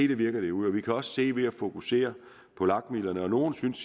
det virker derude vi kan også se det ved at fokusere på lag midlerne nogle synes